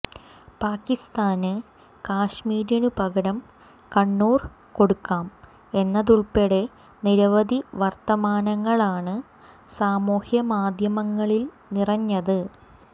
പാക്കിസ്ഥാന് കശ്മീരിനു പകരം കണ്ണൂർ കൊടുക്കാം എന്നതുൾപ്പെടെ നിരവധി വർത്തമാനങ്ങളാണ് സമൂഹമാദ്ധ്യമങ്ങളിൽ നിറഞ്ഞത്